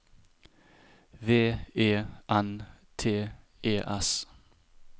V E N T E S